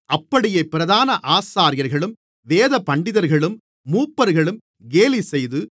அப்படியே பிரதான ஆசாரியர்களும் வேதபண்டிதர்களும் மூப்பர்களும் கேலிசெய்து